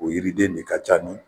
O yiriden ne ka ca ni